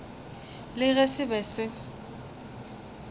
le ge se be se